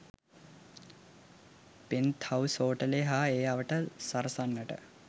'penthouse හෝටලය' හා ඒ අවට සරසන්නට